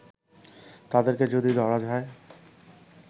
তাদেরকে যদি ধরা যায়